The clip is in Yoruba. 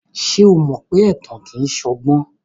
Ṣé o mọ pé ẹ̀tàn kìí ṣọgbọ́n?